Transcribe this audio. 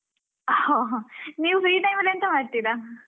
ಹಾ ನೀವು free time ಅಲ್ಲಿ ಎಂತ ಮಾಡ್ತೀರಾ?